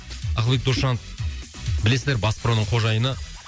ақылбек досжанов білесіздер бас проның қожайыны